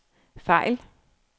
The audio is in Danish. fejl